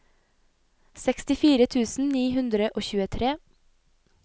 sekstifire tusen ni hundre og tjuetre